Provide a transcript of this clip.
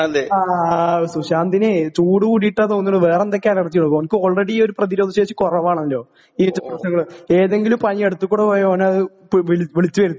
ആ സുശാന്തിനെ ചൂട് കൂടീട്ടാ തോന്നുണു വേറെന്തൊക്കെ അല്ലർജിയോ ഓൻക്ക് ആൾറെഡി ഈ ഒരു പ്രതിരോധശേഷി കൊറവാണല്ലോ പ്രശ്നങ്ങള് ഏതെങ്കിലും പനി അടുത്തുക്കുടി പോയാ ഓനത് പ് വിള് വിളിച്ച് വെരുത്തിക്കോളും.